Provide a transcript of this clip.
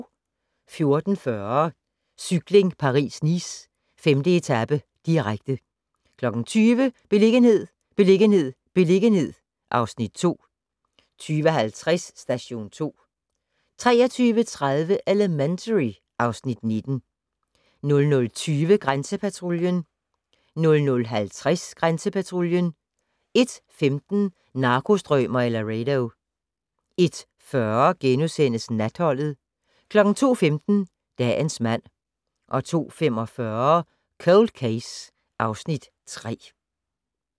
14:40: Cykling: Paris-Nice - 5. etape, direkte 20:00: Beliggenhed, beliggenhed, beliggenhed (Afs. 2) 20:50: Station 2 23:30: Elementary (Afs. 19) 00:20: Grænsepatruljen 00:50: Grænsepatruljen 01:15: Narkostrømer i Laredo 01:40: Natholdet * 02:15: Dagens mand 02:45: Cold Case (Afs. 3)